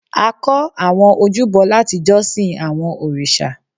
a kọ́ àwọn ojúbọ láti jọ́sìn àwọn òrìṣà